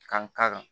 Ka n ka